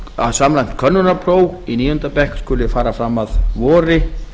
að samræmt könnunarpróf í níunda bekk skuli fara fram að vori